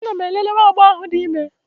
Ana m elele nwa agbọghọ ahụ dị ime.